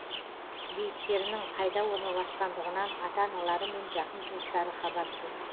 бейіттерінің қайда орналасқандығынан ата аналары мен жақын туыстары хабарсыз